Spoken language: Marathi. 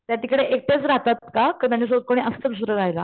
त्या तिकडे एकट्याच रहातात का का त्यांच्या सोबत कोणी असत दुसरं रहायला?